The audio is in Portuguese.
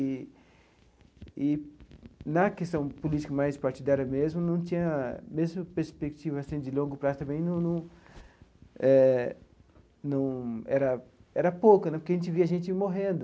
E e, na questão política mais partidária mesmo, não tinha mesma perspectiva assim de longo prazo também num num eh num era era pouca né, porque a gente via gente morrendo.